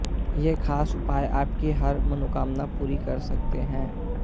ये खास उपाय आपकी हर मनोकामना पूरी कर सकते हैं